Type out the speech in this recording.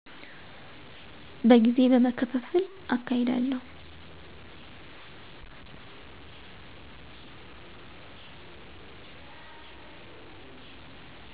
በጊዜ በመከፍፍል አካሄዳለሁ።